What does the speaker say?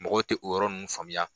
Mɔgɔ tɛ o yɔrɔ nunnu faamuya.